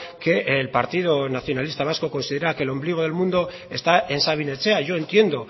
que el partido nacionalista vasco considera que el ombligo del mundo está en sabin etxea yo entiendo